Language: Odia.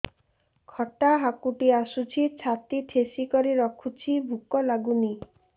ଖଟା ହାକୁଟି ଆସୁଛି ଛାତି ଠେସିକରି ରଖୁଛି ଭୁକ ଲାଗୁନି